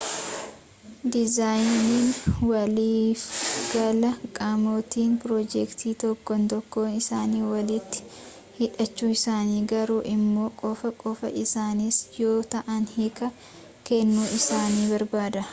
dizaayiniin waliifgalaa qaamotni pirojektii tokkon tokkoon isanii walitti hidhachuu isaanii garuu immoo qofa qofaa isaaniis yoo ta'an hiikaa kennuu isaanii barbaada